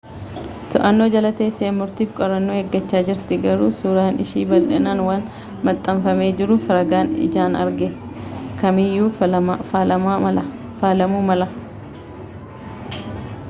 to'annaa jala teessee murtiifi qorannaa eeggachaa jirti garuu suuraan ishii bal'inaan waan maxxanfamee jiruuf ragaan ijaan arge kam iyyuu faalamuu mala